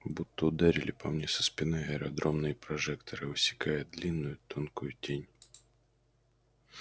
будто ударили по мне со спины аэродромные прожекторы высекая длинную тонкую тень